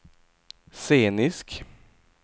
scenisk